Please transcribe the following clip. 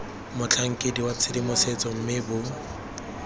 motlhankedi wa tshedimosetso mme bo